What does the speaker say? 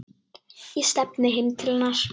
Ég stefni heim til hennar.